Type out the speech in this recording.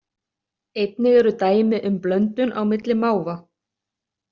Einnig eru dæmi um blöndun á milli máfa.